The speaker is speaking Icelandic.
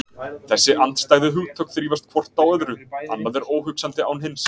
Þessi andstæðu hugtök þrífast hvort á öðru, annað er óhugsandi án hins.